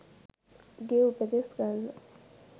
උගේ උපදෙස් ගන්න